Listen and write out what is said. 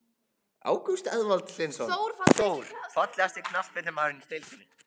Ágúst Eðvald Hlynsson, Þór.Fallegasti knattspyrnumaðurinn í deildinni?